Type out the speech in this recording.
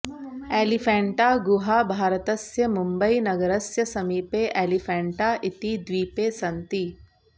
एलिफेण्टागुहाः भारतस्य मुम्बयीनगरस्य समीपे एलिफेण्टा इति द्वीपे सन्ति